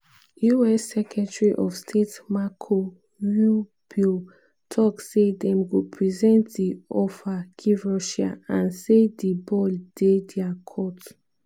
us secretary of state marco rubio tok say dem go present di offer give russia and say "di ball dey dia court".